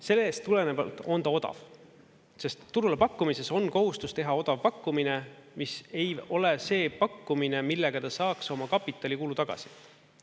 Sellest tulenevalt on ta odav, sest turule pakkumises on kohustus teha odav pakkumine, mis ei ole see pakkumine, millega ta saaks oma kapitalikulu tagasi.